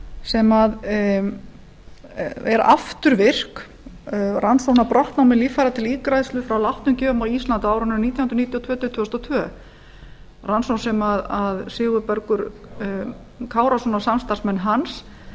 sem er afturvirk rannsóknir brotna með líffæri til ígræðslu frá látnum gjöfum á íslandi á árunum nítján hundruð níutíu og tvö til tvö þúsund og tvær rannsóknir sem sigurbergur kárason og samstarfsmenn hans